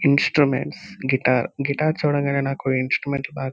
instruments guitar guitar చూడంగానే నాకు instrument --